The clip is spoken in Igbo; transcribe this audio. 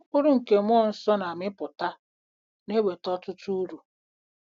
Mkpụrụ nke mmụọ nsọ na-amịpụta na-eweta ọtụtụ uru.